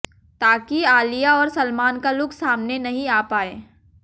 ताकि आलिया और सलमान का लुक सामने नहीं आ पाए